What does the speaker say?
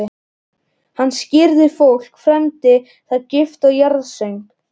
Hann skírði fólk, fermdi það, gifti og jarðsöng.